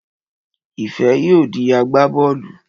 Ìfẹ́ yóò di agbá bọ́ọ̀lù